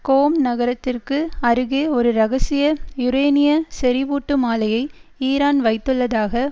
கோம் நகரத்திற்கு அருகே ஒரு இரகசிய யூரேனிய செறிவூட்டும் ஆலையை ஈரான் வைத்துள்ளதாக